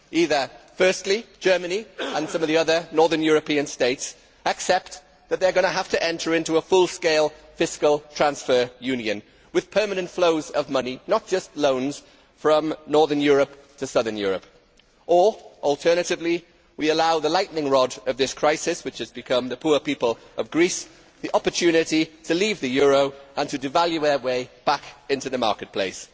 Either, firstly, Germany and some of the other Northern European States accept that they are going to have to enter into a full scale fiscal transfer union with permanent flows of money not just loans from Northern Europe to Southern Europe, or, alternatively, we allow the lightning rod of this crisis which has become the poor people of Greece the opportunity to leave the euro and to devalue their way back into the marketplace.